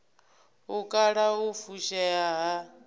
u kala u fushea ha